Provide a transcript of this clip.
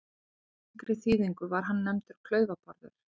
Í yngri þýðingu var hann nefndur Klaufa-Bárður.